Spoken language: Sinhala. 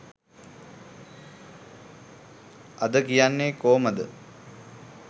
අද කියනේ කොමද